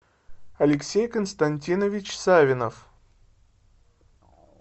алексей константинович савинов